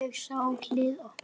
Ég sá hliðið opnast.